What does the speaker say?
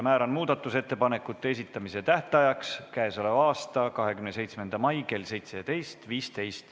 Määran muudatusettepanekute esitamise tähtajaks 27. mai kell 17.15.